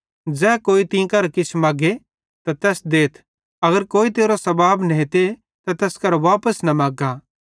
ज़ै कोई तीं करां किछ मग्गे त तैस देथ अगर कोई तेरो सबाब नेते ते तैस करां वापस न मग्गा